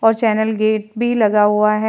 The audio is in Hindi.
और चैनल गेट भी लगा हुआ है।